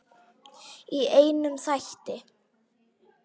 Í einum þætti!